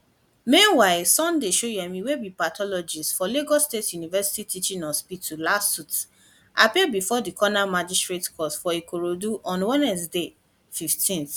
meanwhile sunday shoyemi wey be pathologist for lagos state university teaching hospital lasuth appear bifor di coroner magistrate court for ikorodu on wednesday 15